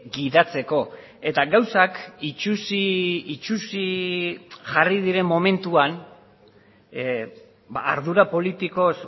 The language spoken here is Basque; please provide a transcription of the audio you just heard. gidatzeko eta gauzak itsusi itsusi jarri diren momentuan ardura politikoz